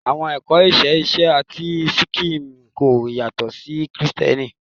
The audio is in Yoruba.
Awọn ẹkọ iṣe iṣe ti sikhism ko yatọ si Kristiẹniti